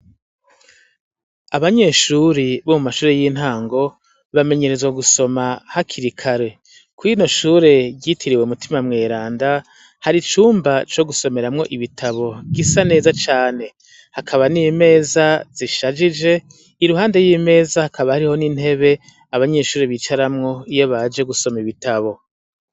Abanyeshure bomumashure y'intango bamenyerezwa gusoma hakiri kare. Kw'iryoshure ryitiriwe mutima mweranda har'icumba cogusomeramwo ibitabo gisa neza cane, hakaba n'imeza zishajije iruhande y'imeza hakaba n'intebe abanyeshure bicaramwo iyobaje gusoma ibitabo.